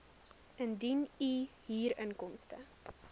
indien u huurinkomste